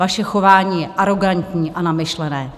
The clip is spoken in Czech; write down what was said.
Vaše chování je arogantní a namyšlené!